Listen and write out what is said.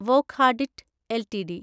Wockhardt LTD